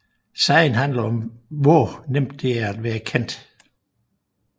Sangen handler om hvor nemt det er at være kendt